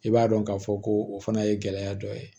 I b'a dɔn k'a fɔ ko o fana ye gɛlɛya dɔ ye